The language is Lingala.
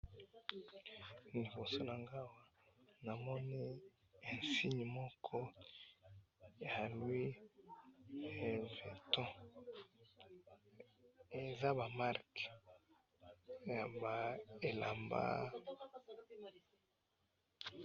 liboso na nga awa namoni insigne moko ya louis vuitton, eza ba marque ya ba elamba.